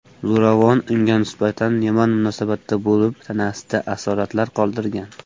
Zo‘ravon unga nisbatan yomon munosabatda bo‘lib, tanasida asoratlar qoldirgan.